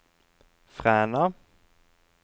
Fræna